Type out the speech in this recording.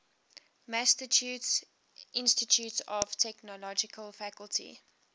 massachusetts institute of technology faculty